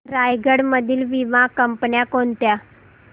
रायगड मधील वीमा कंपन्या कोणत्या